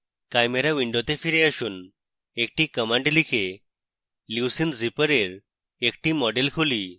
chimera window ফিরে আসুন একটি command লিখে leucine zipper এর একটি model খুলি